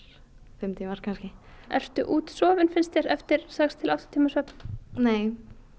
fimm tímar kannski ertu útsofin eftir sex til átta tíma svefn nei